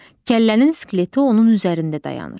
Kəllənin skeleti onun üzərində dayanır.